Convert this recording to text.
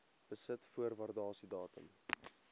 besit voor waardasiedatum